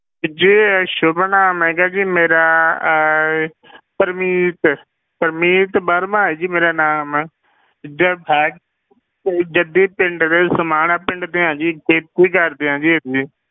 ਜੀ ਸੁੱਭ ਨਾਮ ਹੈਗਾ ਜੀ ਮੇਰਾ ਅਹ ਪਰਮੀਤ, ਪਰਮੀਤ ਵਰਮਾ ਹੈ ਜੀ ਮੇਰਾ ਨਾਮ ਤੇ ਜੱਦੀ ਪਿੰਡ ਦੇ ਸਮਾਣਾ ਪਿੰਡ ਦੇ ਹਾਂ ਜੀ, ਖੇਤੀ ਕਰਦੇ ਹਾਂ ਜੀ ਇੱਥੇ।